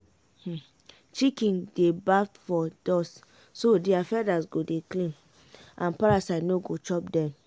chicken gats dey bath for dust so their feathers go dey clean and parasite no go chop den